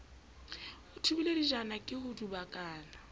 thubile dijana ke ho dubakana